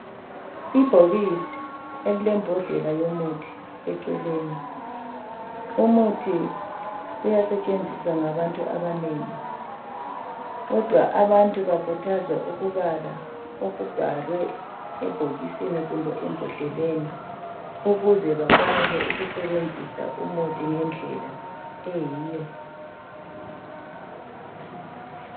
Ibhokisi elilembodlela yomuthi eceleni. Umuthi uyasetshenziswa ngabantu abanengi. Kodwa abantu bakhuthazwa ukubala okubhalwe ebhokisini kumbe embodleleni ukuze bakwanise ukusebenzisa umuthi ngendlela eyiyo